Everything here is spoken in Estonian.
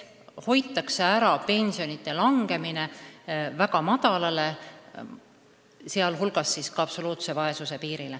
Hoitakse ära pensionide langemine väga madalale, sh ka absoluutse vaesuse piirile.